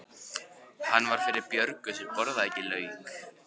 Hann var fyrir Björgu sem borðaði ekki lauk.